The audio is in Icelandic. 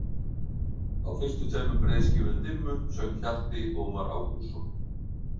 Á fyrstu tveimur breiðskífum Dimmu söng Hjalti Ómar Ágústsson.